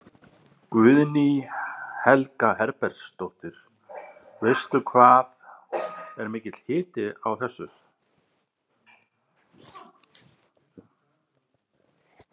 Guðný Helga Herbertsdóttir: Veistu hvað er mikill hiti á þessu?